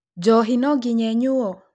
Njohi no nginya ĩnyuo?